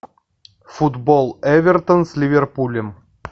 футбол эвертон с ливерпулем